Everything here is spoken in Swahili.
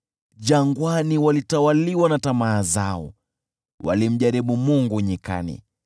Jangwani walitawaliwa na tamaa zao, walimjaribu Mungu nyikani.